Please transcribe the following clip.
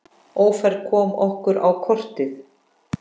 Ófærð kom okkur á kortið.